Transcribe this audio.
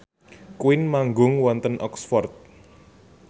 Queen manggung wonten Oxford